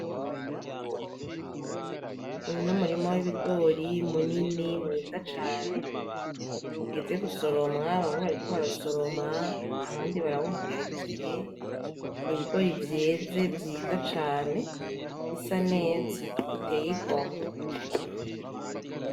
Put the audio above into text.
Uyu n’umurima w’ibigori munini mwiza cane, ugeze gusoromwa bamwe bariko barasoroma abandi barawuhagarijiye nibigori vyeze vyiza cane bisa neza biteye igomwe.